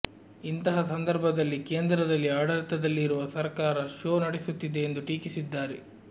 ಇಂತಹ ಸಂದರ್ಭದಲ್ಲಿ ಕೇಂದ್ರದಲ್ಲಿ ಆಡಳಿತದಲ್ಲಿರುವ ಸರ್ಕಾರ ಶೋ ನಡೆಸುತ್ತಿದೆ ಎಂದು ಟೀಕಿಸಿದ್ದಾರೆ